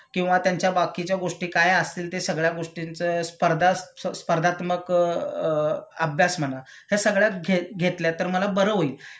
किंवा त्यांच्या बाकीच्या गोष्टी काय असतील ते सगळ्या गोष्टींचं स्पर्धा स्पर्धात्मक अ अभ्यास म्हणा ह्या सगळ्या घे घेतल्या तर मला बर होईल.